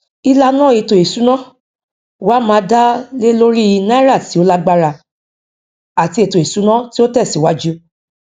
ìlànà ètò ìsúná wá má dá lé lórí náírà tí ó lágbára àti ètò ìsúná tí ó tẹsíwájú